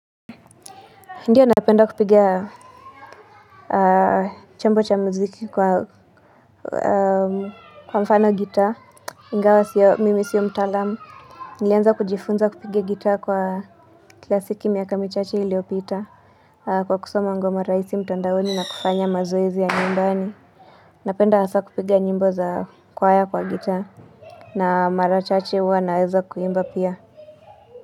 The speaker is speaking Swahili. Ndiyo napenda kupiga chombo cha muziki kwa mfano gitaa, ingawa mimi sio mtaalamu, nilianza kujifunza kupiga gitaa kwa klasiki miaka michache iliopita, kwa kusoma ngoma raisi mtandaoni na kufanya mazoezi ya nyumbani. Napenda hasa kupiga nyimbo za kwa kwaya kwa gitaa, na mara chache huwa naweza kuimba pia.